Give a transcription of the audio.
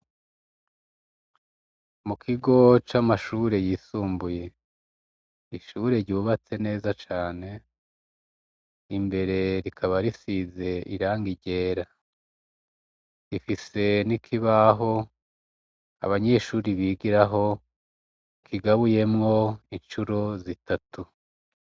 Mu kigo c'amashure y'isumbuye, ishur' ryubatse neza cane, imbere rikaba risiz' irangi ryera rifise n' ikibah' abanyeshure bigiraho kigabuyemw' incuro zitatu.